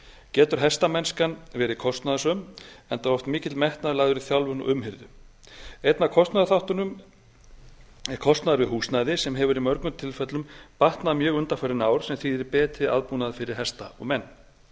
getur hestamennskan verið kostnaðarsöm enda oft mikill metnaður lagður í þjálfun og umhirðu einn af kostnaðarþáttunum er kostnaður við húsnæði sem hefur í mörgum tilfellum batnað mjög undanfarin ár sem þýðir betri aðbúnað fyrir hesta og menn